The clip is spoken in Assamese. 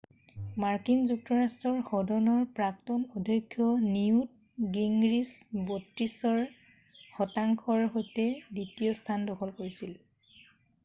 মাৰ্কিন যুক্তৰাষ্ট্ৰৰ সদনৰ প্ৰাক্তন অধ্যক্ষ নিউৎ গিঙৰিচ 32 শতাংশৰ সৈতে দ্বিতীয় স্থান দখল কৰিছিল